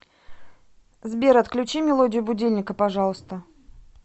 сбер отключи мелодию будильника пожалуйста